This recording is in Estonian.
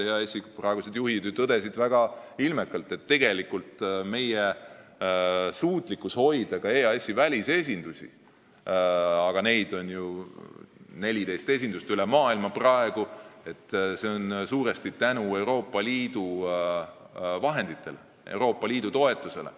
EAS-i praegused juhid tõdesid väga ilmekalt, et tegelikult suudame me EAS-i välisesindusi – neid esindusi on praegu üle maailma 14 – ülal hoida suuresti tänu Euroopa Liidu vahenditele, Euroopa Liidu toetusele.